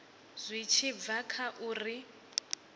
zwi tshi bva kha uri